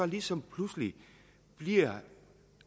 ligesom pludselig bliver